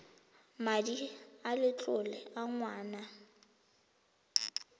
madi a letlole a ngwana